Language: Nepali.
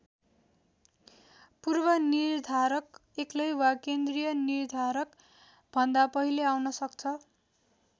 पूर्वनिर्धारक एक्लै वा केन्द्रीय निर्धारकभन्दा पहिले आउन सक्छ।